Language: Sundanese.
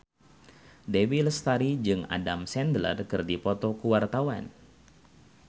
Dewi Lestari jeung Adam Sandler keur dipoto ku wartawan